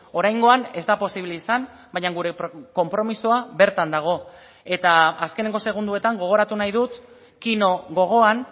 oraingoan ez da posible izan baina gure konpromisoa bertan dago eta azkeneko segunduetan gogoratu nahi dut kino gogoan